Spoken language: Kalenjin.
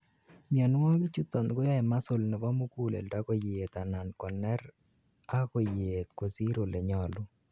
mianwogik chuton koyoe muscle nebo muguleldo koyet anan loner ak koyet kosir olenyalu